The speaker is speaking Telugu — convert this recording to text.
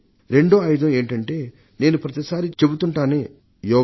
రెండో ఆయుధం ఏమిటంటే నేను ప్రతిసారి చెబుతుంటానే యోగం